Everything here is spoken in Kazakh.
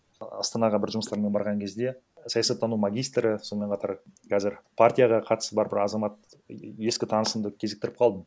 астанаға бір жұмыстармен барған кезде саясаттану магистрі сонымен қатар қазір партияға қатысы бар бір азамат ескі таңысымды кезіктіріп қалдым